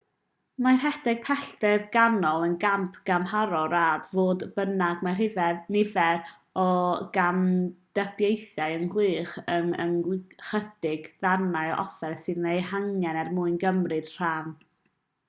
mae rhedeg pellter canol yn gamp gymharol rad fodd bynnag mae nifer o gamdybiaethau ynghylch yr ychydig ddarnau o offer sydd eu hangen er mwyn cymryd rhan